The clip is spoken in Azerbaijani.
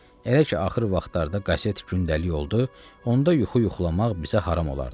Elə ki axırı vaxtlarda qazet gündəlik oldu, onda yuxu yuxulamaq bizə haram olardı.